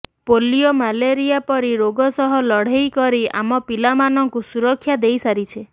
polio malaria ପରି ରୋଗ ସହ ଲଢ଼େଇ କରି ଆମ ପିଲାମାନଙ୍କୁ ସୁରକ୍ଷା ଦେଇ ସାରିଛେ